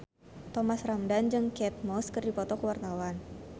Thomas Ramdhan jeung Kate Moss keur dipoto ku wartawan